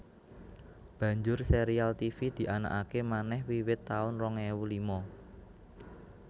Banjur sérial Tivi dianakaké manèh wiwit taun rong ewu lima